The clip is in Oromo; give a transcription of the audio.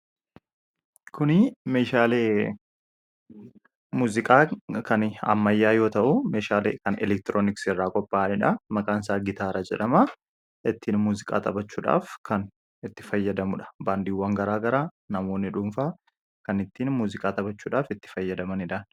kunii meeshaalemuuziqaa kan ammayyaa yoo ta'u meeshaale kan elektirooniks irraa kopaa'aniidha makaan isaa gitaara jedhama ittiin muuziqaa xaphachuudhaaf kan itti fayyadamudha baandiiwwan garaa gara namoonni dhuunfaa kan ittiin muuziqaa xaphachuudhaaf itti fayyadamanidha